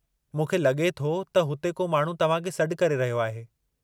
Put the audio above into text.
मूंखे लगे॒ थो त उते को माण्हू तव्हां खे सॾ करे रहियो आहे।